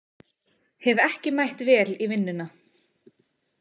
Hef ekki mætt vel í vinnuna.